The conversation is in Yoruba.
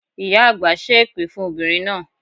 Ìyá àgbà ṣé èpè fún obìnrin náà